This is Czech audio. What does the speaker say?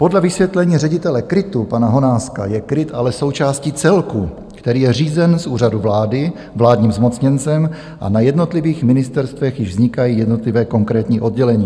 Podle vysvětlení ředitele KRIT pana Honáska je KRIT ale součástí celku, který je řízen z úřadu vlády vládním zmocněncem, a na jednotlivých ministerstvech již vznikají jednotlivá konkrétní oddělení.